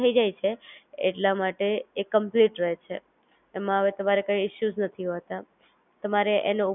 થઇ જાય એટલા માટે એ Complete રહે છે, એમાં હવે તમારે કઈ ઇશુંઝ નથી હોતા